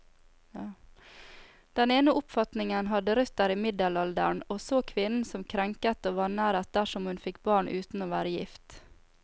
Den ene oppfatningen hadde røtter i middelalderen, og så kvinnen som krenket og vanæret dersom hun fikk barn uten å være gift.